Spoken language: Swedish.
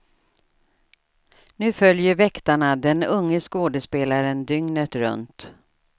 Nu följer väktarna den unge skådespelaren dygnet runt.